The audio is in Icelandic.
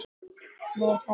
Meðal annars.